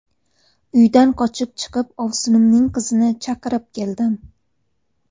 Uydan qochib chiqib, ovsinimning qizini chaqirib keldim.